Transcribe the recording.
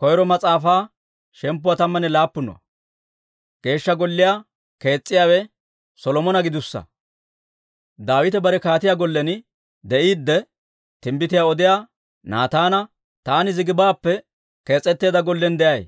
Daawite bare kaatiyaa gollen de'iidde, timbbitiyaa odiyaa Naataana, «Taani zigaappe kees'etteedda gollen de'ay;